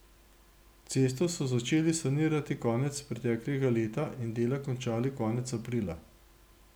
Cesto so začeli sanirati konec preteklega leta in dela končali konec aprila.